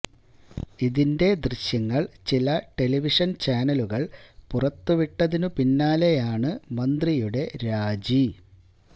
ഇതിന്റെ ദൃശ്യങ്ങൾ ചില ടെലിവിഷൻ ചാനലുകൾ പുറത്തു വിട്ടതിനു പിന്നാലെയാണ് മന്ത്രിയുടെ രാജി